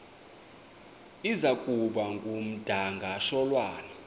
iza kuba ngumdakasholwana